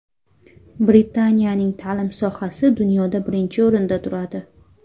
Britaniyaning ta’lim sohasi dunyoda birinchi o‘rinda turadi.